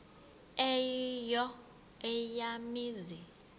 eyo eya mizi